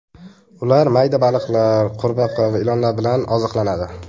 Ular mayda baliqlar, qurbaqa va ilonlar bilan oziqlanadi.